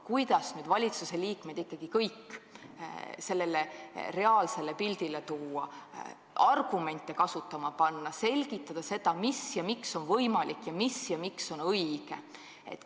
Kuidas nüüd valitsusliikmed ikkagi kõik sellele reaalsuse pildile tuua, argumente kuulama panna, selgitada, mis ja miks on võimalik, mis ja miks on õige?